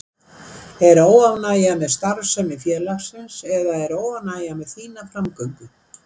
Er óánægja með starfsemi félagsins eða er óánægja með þína framgöngu?